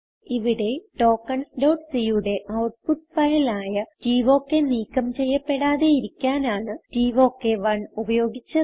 ഇവിടെ tokensസി യുടെ ഔട്ട്പുട്ട് ഫയൽ ആയ ടോക്ക് നീക്കം ചെയ്യപ്പെടാതെയിരിക്കാനാണ് ടോക്ക് 1 ഉപയോഗിച്ചത്